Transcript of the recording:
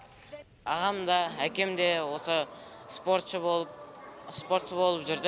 ағамда әкем де осы спортшы болып спортшы болып жүрді